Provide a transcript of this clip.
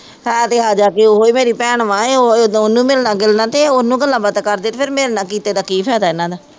ਹੈ ਤੇ ਆਜਾ ਕਿ ਉਹ ਹੀ ਮੇਰੀ ਭੈਣ ਵਾਂ, ਇਹ ਉਹ ਉਦੋਂ ਉਹਨੂੰ ਮਿਲਣ ਗਿਲਣਾ ਤੇ ਉਹਨੂੰ ਗੱਲਾਬਾਤਾਂ ਕਰਦੇ ਤੇ ਫੇਰ ਮੇਰੇ ਨਾਲ ਕੀਤੇ ਦਾ ਕੀ ਫਾਇਦਾ ਇਹਨਾ ਦਾ